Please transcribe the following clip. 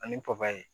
Ani